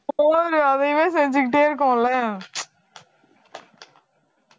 போதும் அதையுமே செஞ்சுக்கிட்டே இருக்கோம்ல